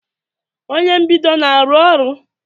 Onye mbido na-arụ ọrụ?